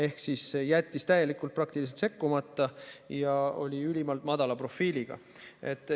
Politsei jättis praktiliselt täiesti sekkumata ja hoidis ülimalt madalat profiili.